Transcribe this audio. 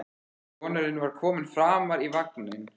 Sonurinn var kominn framar í vagninn.